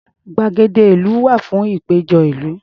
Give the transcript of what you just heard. Gbàgede ìlú wà fún ìpéjọ ìlú.